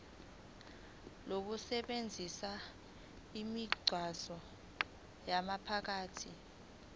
lokusebenzisa imigwaqo yomphakathi